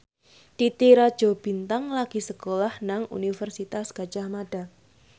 Titi Rajo Bintang lagi sekolah nang Universitas Gadjah Mada